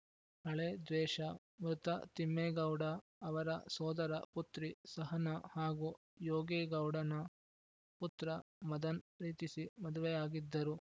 ಹಳೇ ದ್ವೇಷ ಮೃತ ತಿಮ್ಮೇಗೌಡ ಅವರ ಸೋದರ ಪುತ್ರಿ ಸಹನ ಹಾಗೂ ಯೋಗೇ ಗೌಡನ ಪುತ್ರ ಮದನ್‌ ಪ್ರೀತಿಸಿ ಮದುವೆಯಾಗಿದ್ದರು